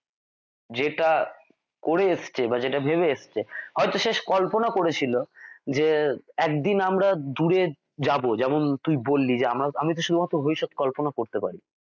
যেটা করে এসছে বা যেটা ভেবে আসছে হয়ত সে কল্পনা করেছিল যে একদিন আমরা দূরে যাবো তুই বললি যে আমি তো শুধুমাত্র কল্পনা করতে পারি।